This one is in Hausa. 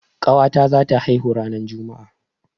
Ƙawa ta za ta haihu ranar Juma'a